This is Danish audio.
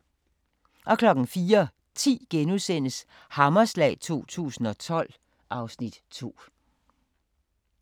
04:10: Hammerslag 2012 (Afs. 2)*